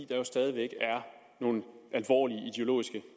der jo stadig væk er nogle alvorlige